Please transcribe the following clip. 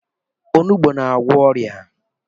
Onugbu na-agwọ ọrịa.